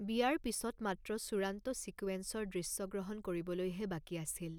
বিয়াৰ পিছত মাত্ৰ চূড়ান্ত ছিকুৱেন্সৰ দৃশ্যগ্ৰহণ কৰিবলৈহে বাকী আছিল।